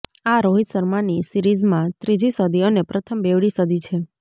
આ રોહિત શર્માની સિરીઝમાં ત્રીજી સદી અને પ્રથમ બેવડી સદી છે